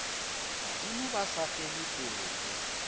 badimo ba sa fele pelo